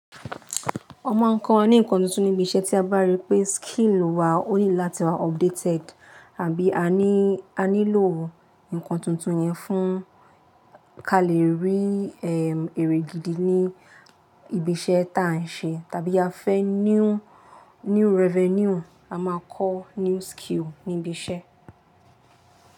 Ọ n máa ń kọ́ni nǹkan tuntun níbi iṣẹ́ tí a bá rí pé skill wa ó ní láti wa updated àbí a ní, a nílò nǹkan tuntun yẹn fún ka lè rí, ehm, èrè gidi ní ibi iṣẹ́ ta a ń ṣe. Tàbí a fẹ́ new, new revenue, a máa kọ́ new skill ní ibi iṣẹ́.